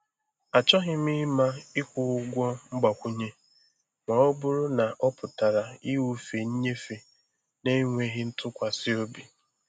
Achọghị m ịma ịkwụ ụgwọ mgbakwunye ma ọ bụrụ na ọ pụtara ịwụfe nnyefe na-enweghị ntụkwasị obi.